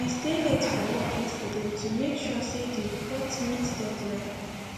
i stay late for work yesterday to make sure say the report meet deadline